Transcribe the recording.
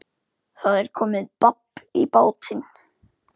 Það er komið babb í bátinn